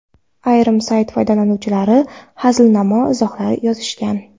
Ayrim sayt foydalanuvchilari hazilnamo izohlar ham yozishgan.